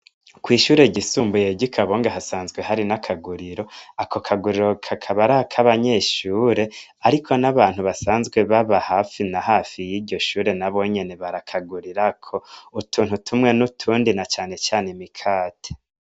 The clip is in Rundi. Kw'ishure ryisumbuye ry'ikabanga hasanzwe hari n'akaguriro ,ako kaguriro kakaba arak'abanyeshure, ariko n'abantu basanzwe baba hafi na hafi y'iryo shure nabo nyene barakagurirako utuntu tumwe n'utundi na cane cane imikate.